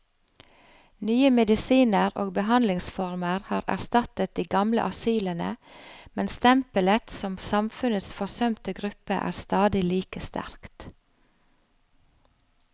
Nye medisiner og behandlingsformer har erstattet de gamle asylene, men stempelet som samfunnets forsømte gruppe er stadig like sterkt.